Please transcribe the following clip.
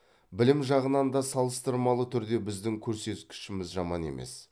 білім жағынан да салыстырмалы түрде біздің көрсекішіміз жаман емес